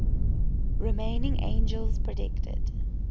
remaining angels predicted